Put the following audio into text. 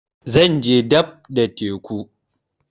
Zan je dab da teku